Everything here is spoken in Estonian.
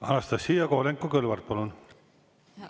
Anastassia Kovalenko-Kõlvart, palun!